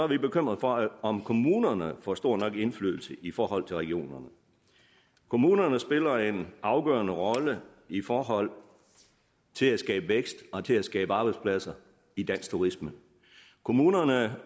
vi bekymrede for om kommunerne får stor nok indflydelse i forhold til regionerne kommunerne spiller en afgørende rolle i forhold til at skabe vækst og til at skabe arbejdspladser i dansk turisme kommunerne